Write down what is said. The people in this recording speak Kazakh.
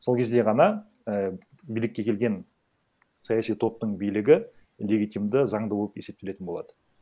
сол кезде ғана ііі билікке келген саяси топтың билігі легитимды заңды болып есептелетін болады